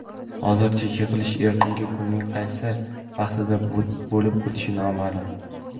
Hozircha yig‘ilish ertaga kunning qaysi vaqtida bo‘lib o‘tishi noma’lum.